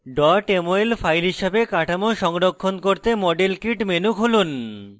mol file হিসাবে কাঠামো সংরক্ষণ করতে model kit menu খুলুন